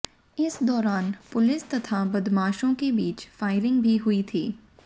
इस दौरान पुलिस तथा बदमाशों के बीच फायरिंग भी हुई थी